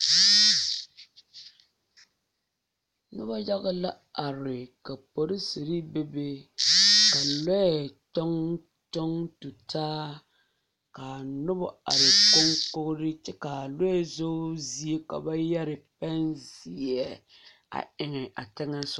Pɔge la zeŋ boŋ pelaa zu a de daare a kpare ne k,o tagra kyɛ ka lɔɔpelaa meŋ are a soriŋ ka bonzeɛ toɔ kyɛ ka kuruu be o lambori seŋ ka kuruu kaŋ meŋ gaŋ a sori sensogleŋ waa wogi lɛ.